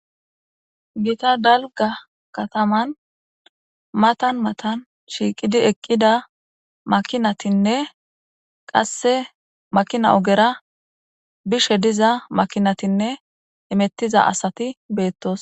gita dalga kataman matan matan shiiqidi eqqida makinatinne qasse makina ogera bishe diza makinatinne imettiza asati beettos